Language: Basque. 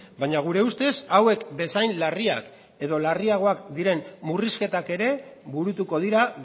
baina gure ustez hauek bezain larriak edo larriagoak diren murrizketak ere burutuko dira